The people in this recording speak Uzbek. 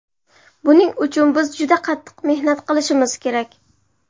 Buning uchun biz juda qattiq mehnat qilishimiz kerak”.